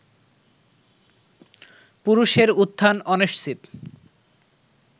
পুরুষের উত্থান অনিশ্চিত